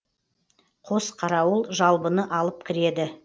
қос қарауыл жалбыны алып кіреді